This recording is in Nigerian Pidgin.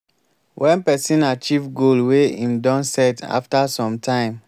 when person achieve goal wey im don set after some time